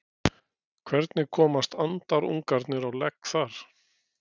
hvernig komast andarungarnir á legg þar